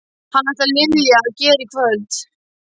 Hvað ætlar Lilja að gera í kvöld?